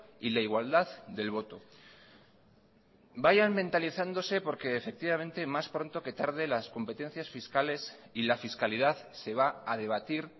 y la igualdad del voto vayan mentalizándose porque efectivamente más pronto que tarde las competencias fiscales y la fiscalidad se va a debatir